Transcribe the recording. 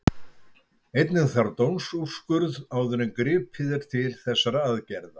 Einnig þarf dómsúrskurð áður en gripið er til þessara aðgerða.